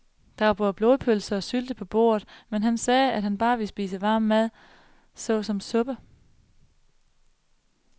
Der var både blodpølse og sylte på bordet, men han sagde, at han bare ville spise varm mad såsom suppe.